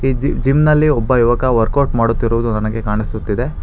ಇಲ್ಲಿ ಜಿಮ್ ನಲ್ಲಿ ಒಬ್ಬ ಯುವಕ ವರ್ಕ್ಔಟ್ ಮಾಡುತ್ತಿರುವುದು ನನಗೆ ಕಾಣಿಸುತ್ತಿದೆ.